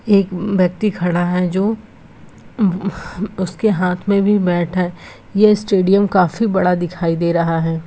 एक व्यक्ति खड़ा है जो उसके हाथ में भी बैट है यह स्टेडियम काफी बड़ा दिखाई दे रहा है।